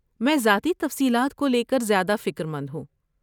میں ذاتی تفصیلات کو لے کر زیادہ فکر مند ہوں۔